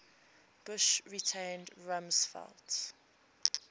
bush retained rumsfeld